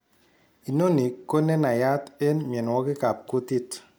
Inoni kone naiyat eng' mionwogik ab kuutik